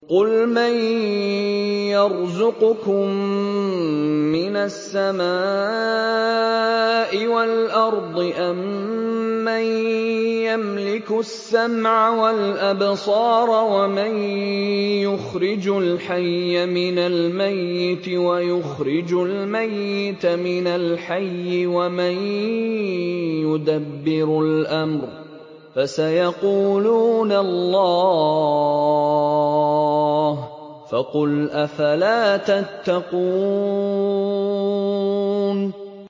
قُلْ مَن يَرْزُقُكُم مِّنَ السَّمَاءِ وَالْأَرْضِ أَمَّن يَمْلِكُ السَّمْعَ وَالْأَبْصَارَ وَمَن يُخْرِجُ الْحَيَّ مِنَ الْمَيِّتِ وَيُخْرِجُ الْمَيِّتَ مِنَ الْحَيِّ وَمَن يُدَبِّرُ الْأَمْرَ ۚ فَسَيَقُولُونَ اللَّهُ ۚ فَقُلْ أَفَلَا تَتَّقُونَ